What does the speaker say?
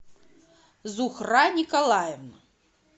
зухра николаевна